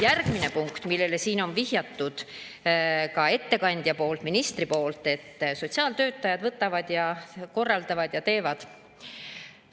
Järgmine punkt, millele siin on vihjatud ka ettekandja poolt, ministri poolt, et sotsiaaltöötajad võtavad ja korraldavad ja teevad.